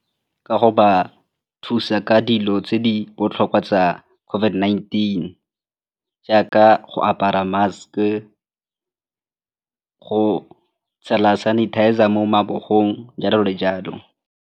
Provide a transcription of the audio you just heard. Ka go ba thusa ka dilo tse di botlhokwa tsa COVID-19 jaaka go apara mask-e, go tshela sanitizer mo mabogong jalo le jalo.